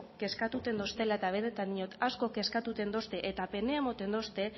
kezkatuta deuztela eta benetan diot askok kezkatzen deuzte eta pena ematen deuzte